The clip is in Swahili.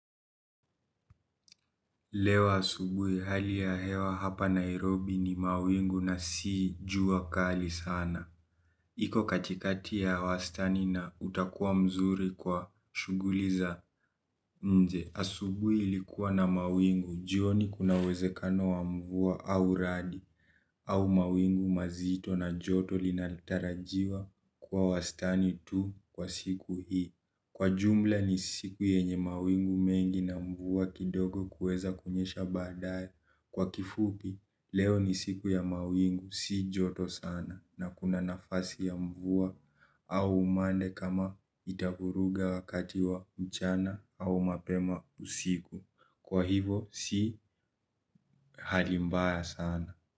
Leo asubuhi hali ya hewa hapa Nairobi ni mawingu na si jua kali sana. Iko katikati ya wastani na utakuwa mzuri kwa shughuli za nje. Asubuhi ilikuwa na mawingu, jioni kuna uwezekano wa mvua au radi. Au mawingu mazito na joto linatarajiwa kwa wastani tu kwa siku hii. Kwa jumla ni siku yenye mawingu mengi na mvua kidogo kuweza kunyesha baadaye. Kwa kifupi, leo ni siku ya mawingu si joto sana na kuna nafasi ya mvua. Au umande kama itavuruga wakati wa mchana au mapema usiku kwa hivyo si hali mbaya sana.